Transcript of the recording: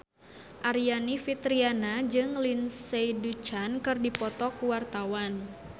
Aryani Fitriana jeung Lindsay Ducan keur dipoto ku wartawan